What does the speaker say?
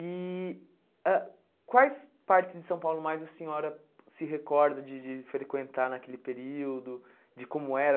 E ãh quais partes de São Paulo mais a senhora se recorda de de frequentar naquele período, de como era?